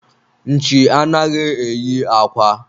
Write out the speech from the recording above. nchi anaghị eyi akwa